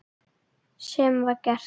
Sem var gert.